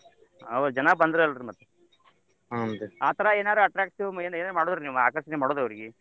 ಅವು ಜನಾ ಬಂದ್ರಲ್ಲ ರ್ರೀ ಮತ್ತ ಆತರ attractive ಏನ್ ಎನಾರ ಆಕರ್ಷಣೆ ಮಾಡುದ್ ಅವ್ರಗೆ.